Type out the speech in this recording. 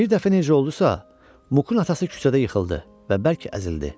Bir dəfə necə oldusa, Mukun atası küçədə yıxıldı və bərk əzildi.